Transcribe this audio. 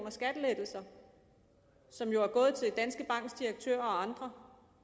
i skattelettelser som jo er gået til danske banks direktør og andre